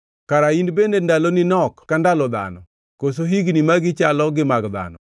Kara in bende ndaloni nok ka ndalo dhano, koso higni magi chalo gi mag dhano,